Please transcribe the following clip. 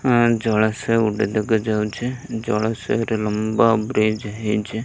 ଆଁ ଜଳାଶୟ ଗୋଟେ ଦେଖାଯାଉଛି ଜଳାଶୟରେ ଗୋଟେ ଲମ୍ବା ବ୍ରିଜ୍ ହେଇଛି।